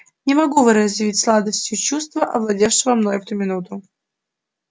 не могу выразить сладостного чувства овладевшего мною в эту минуту